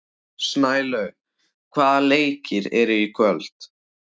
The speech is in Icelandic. Snælaug, hvaða leikir eru í kvöld?